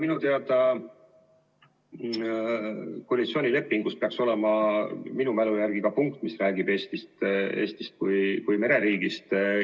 Minu teada koalitsioonilepingus peaks olema ka punkt, mis räägib Eestist kui mereriigist.